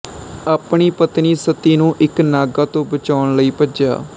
ਆਪਣੀ ਪਤਨੀ ਸਤੀ ਨੂੰ ਇੱਕ ਨਾਗਾ ਤੋਂ ਬਚਾਉਣ ਲਈ ਭੱਜਿਆ